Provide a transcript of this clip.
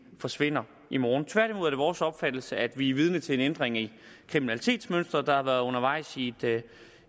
forsvinder i morgen tværtimod er det vores opfattelse at vi er vidne til en ændring i kriminalitetsmønsteret som har været undervejs i